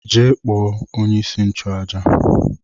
Jee kpọọ onye-isi-nchu-àjà!